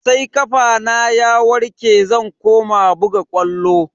Sai kafana ya warke zan koma buga ƙwallo.